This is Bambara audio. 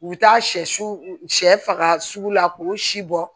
U bi taa sɛ su faga sugu la k'o si bɔ